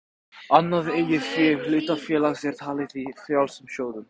Annað eigið fé hlutafélags er talið í frjálsum sjóðum.